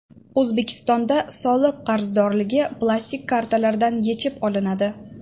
O‘zbekistonda soliq qarzdorligi plastik kartalardan yechib olinadi.